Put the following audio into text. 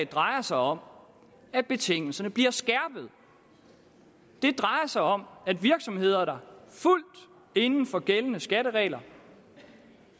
drejer sig om at betingelserne bliver skærpet det drejer sig om at virksomheder der fuldt ud inden for gældende skatteregler